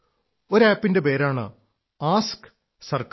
ഒരു ആപ് ന്റെ പേരാണ് ആസ്ക് സർക്കാർ